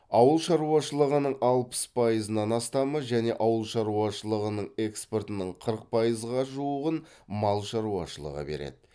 ауыл шаруашылығының алпыс пайызынан астамы және ауыл шаруашылығының экспортының қырық пайызға жуығын мал шаруашылығы береді